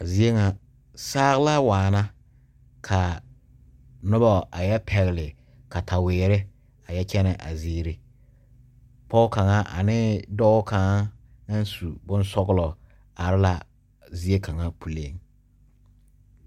Zie ŋa saa la waana ka noba a yɔ pɛgle kataweere a yɔ kyɛnɛ a ziiri pɔge kaŋa ane dɔɔ kaŋa naŋ su boŋ sɔgelɔ are la zie kaŋa puliŋ.